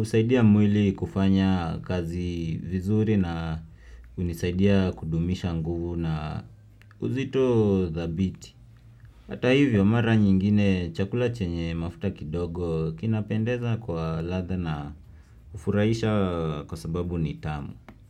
Usaidia mwili kufanya kazi vizuri na unisaidia kudumisha nguvu na uzito dhabiti. Hata hivyo mara nyingine chakula chenye mafuta kidogo kinapendeza kwa ladha na hufurahisha kwa sababu ni tamu.